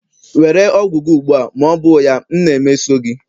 Were ọgwụ gị ugbu a, ma ọ bụ ya m na-emeso gị!